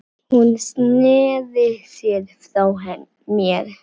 Hún sneri sér frá mér.